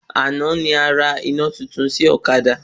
Àná ni arà iná titun sí ọ̀kadà